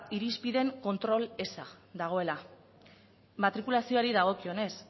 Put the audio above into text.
irizpideen kontrol eza dagoela matrikulazioari dagokionez